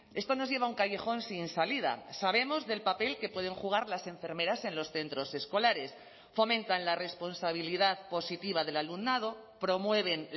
esto nos lleva a un callejón sin salida sabemos del papel que pueden jugar las enfermeras en los centros escolares fomentan la responsabilidad positiva del alumnado promueven